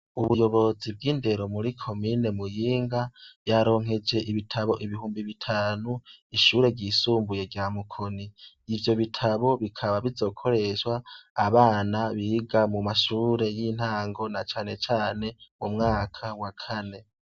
Ubuyobozi bw' indero muri komine Muyinga , ryaronkeje ibitabo ibihumbi bitanu ishure ry' isumbuye rya Mukoni . Ivyo bitabo bikaba bizokoreshwa abana biga mu mashure y' intango na cane cane umwaka wa kane.